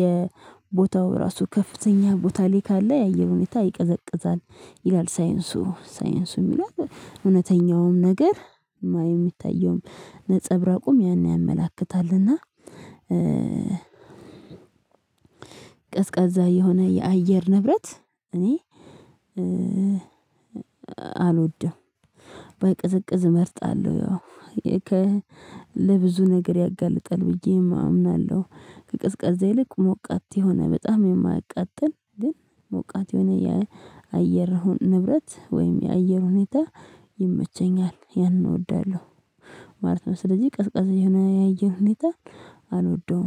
የቦታው ራሱ ከፍተኛ ቦታ ላይ ካለ የአየር ሁኔታ ይቀዘቅዛል ይላል ሳይንሱ ሳይንሱ የሚለን እውነተኛውም ነገር የሚታየውም ነፀብራቁም ያን ያመላክታልና። ቀዝቃዛ የሆነ የአየር ንብረት እኔ አልወድም ባይቀዘቅዝ እመርጣለሁ። ያው ለብዙ ነገር ያጋልጣል ብዬ አምናለሁ። ከቅዝቃዜ ልክ ሞቃት የሆነ በጣም የማያቃጥል ግን ሞቃት የሆነ የአየር ንብረት ወይም የአየር ሁኔታ ይመቸኛል ያንን እወዳለሁ ማለት ነው። ስለዚህ ቀዝቃዛ የሆነ የአየር ሁኔታ አልወደውም